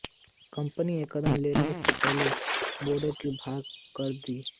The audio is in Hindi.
कंपनी यह कदम लेने से पहले बोर्ड को भंग कर देगी